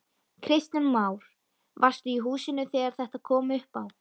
Kristján Már: Varstu í húsinu þegar þetta kom upp á?